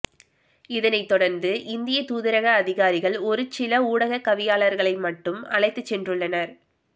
இதனைத் தொடர்ந்து இந்திய தூதரக அதிகாரிகள் ஒரு சில ஊடகவியலாளர்களை மட்டும் அழைத்துச்சென்றுள்ளனர்